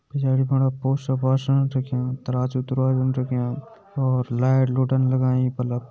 पीछाड़ि फणा पोश्टर पाश्टरन रख्याँ तराजू तुराजन रख्याँ और लाइट लुटन लगाईं बल्लब --